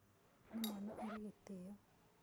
Nĩ mwana ũrĩ gĩtĩĩo.